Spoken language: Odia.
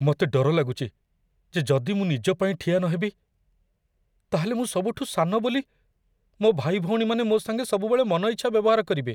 ମତେ ଡର ଲାଗୁଚି ଯେ ଯଦି ମୁଁ ନିଜ ପାଇଁ ଠିଆ ନହେବି, ତା'ହେଲେ ମୁଁ ସବୁଠୁ ସାନ ବୋଲି ମୋ' ଭାଇଭଉଣୀମାନେ ମୋ' ସାଙ୍ଗେ ସବୁବେଳେ ମନ ଇଚ୍ଛା ବ୍ୟବହାର କରିବେ ।